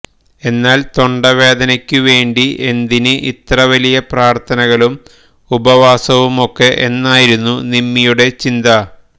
എന്നാല് തൊണ്ടവേദനയ്ക്കുവേണ്ടി എന്തിന് ഇത്ര വലിയ പ്രാര്ത്ഥനകളും ഉപവാസവുമൊക്കെ എന്നായിരുന്നു നിമ്മിയുടെ ചിന്ത